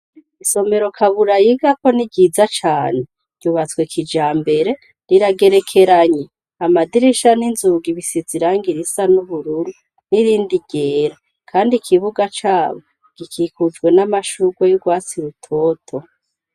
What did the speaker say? Isomero Kabura yigako ni ryiza cane. Ryubatswe kijambere , riragerekeranye. Amadirisha n'inzugi bisize irangi risa n'ubururu n'irindi ryera. Kandi ikibuga cabo gikikujwe n'amashurwe y'urwatsi rutoto.